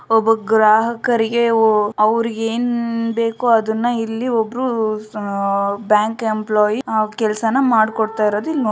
ಒಬ್ಬ ಗ್ರಾಹಕರಿಗೆ ಓ ಅವ್ರಿಗ್ ಏನ್ ಬೇಕೊ ಅದುನ್ನ ಇಲ್ಲಿ ಒಬ್ಬ್ರು ಅಹ್ ಬ್ಯಾಂಕ್ ಎಂಪ್ಲೋಯೆ ಆ ಕೆಲ್ಸನ ಮಾಡ್ಕೊಡ್ತಾಇರೋದು ಇಲ್ ನೋಡ್ಬೋದು.